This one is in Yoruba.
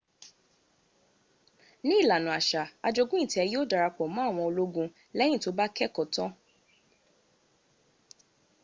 ní ìlànà àṣà ajogún ìtẹ yíò dara pọ̀ mọ àwọn ológun lẹ́yìn tó bá keẹ́kọ̀ọ́ tán